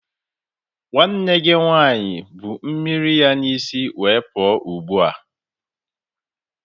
Nwanne gị nwanyị bu mmiri ya n'isi were pụọ ugbua.